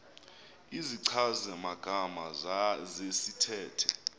izichazi magama zesithethe